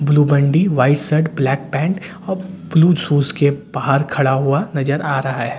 Blue बंडी white shirt black pant blue shoes के बाहर खड़ा हुआ नजर आ रहा है।